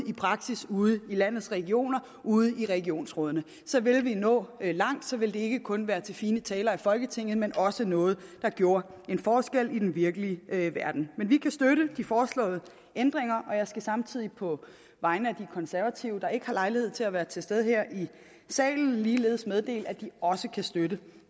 i praksis ude i landets regioner ude i regionsrådene så vil vi nå langt så vil det ikke kun være noget til fine taler i folketinget men også noget der gjorde en forskel i den virkelige verden men vi kan støtte de foreslåede ændringer jeg skal samtidig på vegne af de konservative der ikke har lejlighed til at være til stede her i salen ligeledes meddele at de også kan støtte